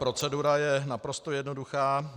Procedura je naprosto jednoduchá.